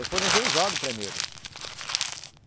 Eu fui no juizado primeiro.